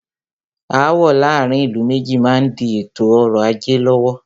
Aàwọ̀ láàárín ìlú méjì má n di ètò ọrọ̀ ajé lọ́wọ́.